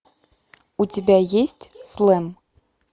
у тебя есть слэм